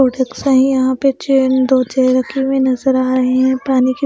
products है यहाँ पे चेयर अन दो चेयर रखी हुई नज़र आ रहे हैं पानी की --